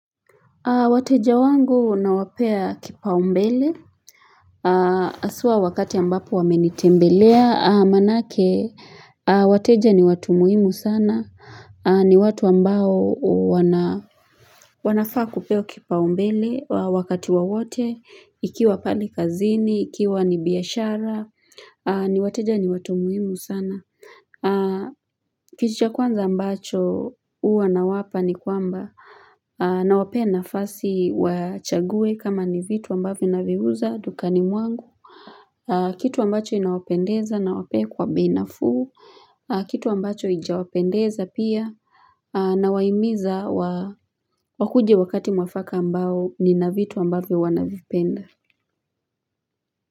Wateja wangu nawapea kipaumbele haswa wakati ambapo wamenitembelea manake wateja ni watu muhimu sana ni watu ambao wanafaa kupewa kipaumbele wakati wawote ikiwa pale kazini ikiwa ni biashara ni wateja ni watu muhimu sana Kitu cha kwanza ambacho huwa nawapa ni kwamba Nawapea nafasi wachague kama ni vitu ambavyo naviuza dukani mwangu Kitu ambacho inawapendeza nawape kwa bei nafuu Kitu ambacho hijawapendeza pia Nawaimiza wakuje wakati mwafaka ambao nina vitu ambavyo wanavipenda.